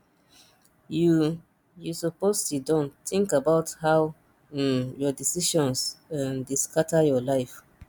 you you suppose siddon tink about how um your decisions um dey scatter your life um